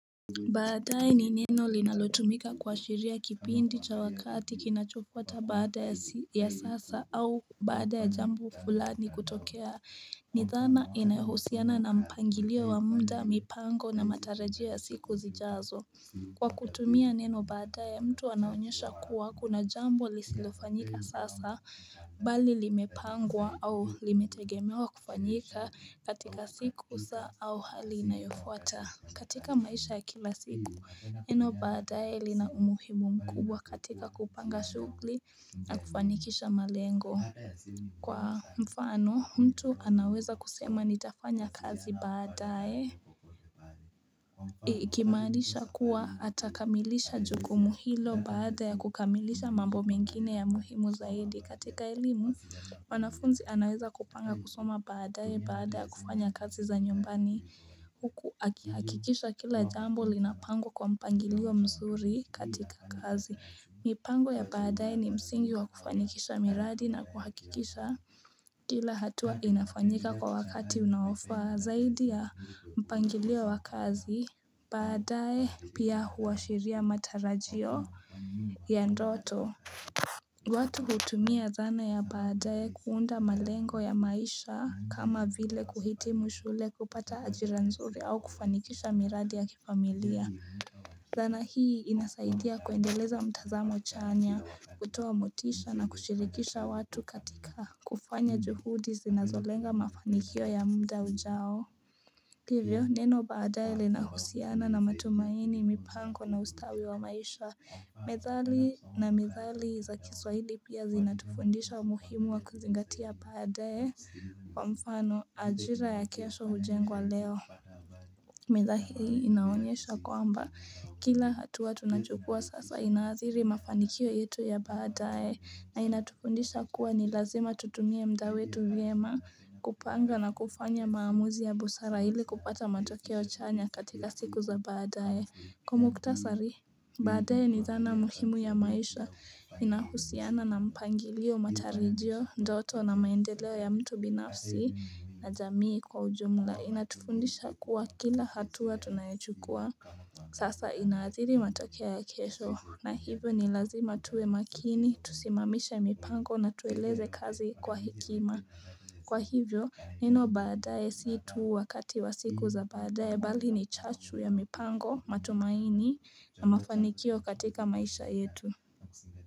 Baadaye ni neno linalotumika kuashiria kipindi cha wakati kinachofuata baada ya sasa au baada ya jambo fulani kutokea ni dhana inayohusiana na mpangilio wa muda mipango na matarajio ya siku zijazo Kwa kutumia neno baadaye mtu anaonyesha kuwa kuna jambo lisilofanyika sasa bali limepangwa au limetegemewa kufanyika katika siku saa au hali inayofuata katika maisha ya kila siku, neno baadae li na umuhimu mkubwa katika kupanga shughuli na kufanikisha malengo. Kwa mfano, mtu anaweza kusema nitafanya kazi baadaye. Ikimaanisha kuwa atakamilisha jukumu hilo baada ya kukamilisha mambo mengine ya muhimu zaidi. Katika elimu, wanafunzi anaweza kupanga kusoma baadaye baada ya kufanya kazi za nyumbani huku. Hakikisha kila jambo linapangwa kwa mpangilio mzuri katika kazi. Mipango ya baadae ni msingi wa kufanikisha miradi na kuhakikisha. Kila hatua inafanyika kwa wakati unaofaa zaidi ya mpangilio wa kazi. Baadaye pia huashiria matarajio ya ndoto. Watu hutumia dhana ya baadaye kuunda malengo ya maisha kama vile kuhitimu shule kupata ajira nzuri au kufanikisha miradi ya kifamilia dhana hii inasaidia kuendeleza mtazamo chanya, kutoa motisha na kushirikisha watu katika kufanya juhudi zinazolenga mafanikio ya muda ujao hivyo, neno baadaye lina husiana na matumaini, mipango na ustawi wa maisha. Methali na mithali za kiswahili pia zinatufundisha umuhimu wa kuzingatia baadaye wa mfano ajira ya kesho hujengwa leo. Methahi inaonyesha kwamba kila hatua tunachukua sasa inaathiri mafanikio yetu ya baadaye na inatufundisha kuwa ni lazima tutumie muda wetu vyema kupanga na kufanya maamuzi ya busara ili kupata matokeo chanya katika siku za baadae Kwa muhtasari baadaye ni dhana muhimu ya maisha inahusiana na mpangilio, matarajio, ndoto na maendeleo ya mtu binafsi na jamii kwa ujumla Inatufundisha kuwa kila hatua tunayochukua Sasa inaadhiri matokea ya kesho na hivyo ni lazima tuwe makini, tusimamisha mipango na tueleze kazi kwa hikima. Kwa hivyo, neno baadaye si tu wakati wa siku za baadaye bali ni chachu ya mipango matumaini na mafanikio katika maisha yetu.